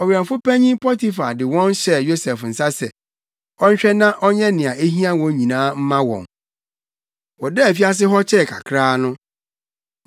Ɔwɛmfo panyin Potifar de wɔn hyɛɛ Yosef nsa sɛ, ɔnhwɛ na ɔnyɛ nea ehia wɔn nyinaa mma wɔn. Wɔdaa afiase hɔ kyɛɛ kakraa no,